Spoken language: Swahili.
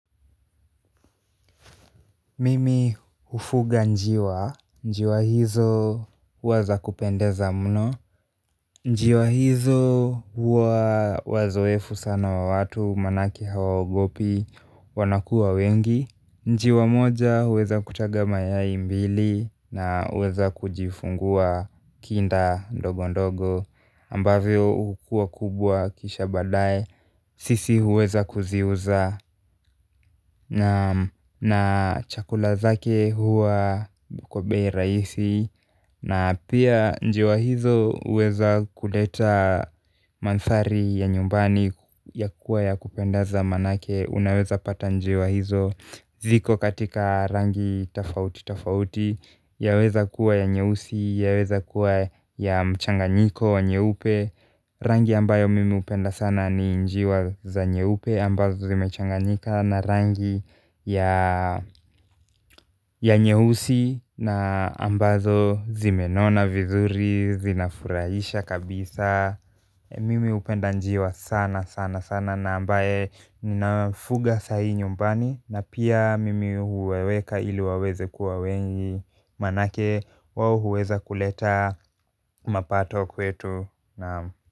Mimi hufuga njiwa, njiwa hizo huwa za kupendeza mno, njiwa hizo huwa wazoefu sana wa watu manake hawaogopi wanakuwa wengi. Njiwa moja huweza kutaga mayai mbili na huweza kujifungua kinda ndogo ndogo ambavyo hukua kubwa kisha baadaye sisi huweza kuziuza na chakula zake huwa kwa bei rahisi na pia njiwa hizo huweza kuleta mandhari ya nyumbani ya kuwa ya kupenda za manake unaweza pata njiwa hizo ziko katika rangi tofauti tofauti. Yaweza kuwa ya nyeusi, yaweza kuwa ya mchanganyiko, nyeupe rangi ambayo mimi hupenda sana ni njiwa za nyeupe ambazo zimechanganyika na rangi ya ya nyeusi na ambazo zimenona vizuri, zinafurahisha kabisa mimi hupenda njiwa sana sana sana na ambaye ninafuga sahii nyumbani na pia mimi huwaweka ili waweze kuwa wengi manake wao huweza kuleta mapato kwetu.